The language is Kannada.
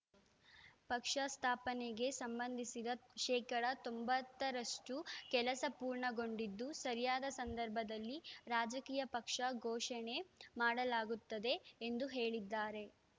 ಪಕ್ಷ ಸಂಸ್ಥಾಪನೆಗೆ ಸಂಬಂಧಿಸಿದ ಶೇಕಡಾ ತೊಂಬತ್ತು ರಷ್ಟುಕೆಲಸ ಪೂರ್ಣಗೊಂಡಿದ್ದು ಸರಿಯಾದ ಸಂದರ್ಭದಲ್ಲಿ ರಾಜಕೀಯ ಪಕ್ಷ ಘೋಷಣೆ ಮಾಡಲಾಗುತ್ತದೆ ಎಂದು ಹೇಳಿದ್ದಾರೆ